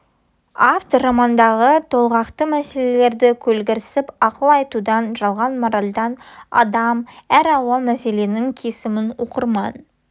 автор романдағы толғақты мәселелерге көлгірсіп ақыл айтудан жалған моральдан адам әр алуан мәселенің кесімін оқырман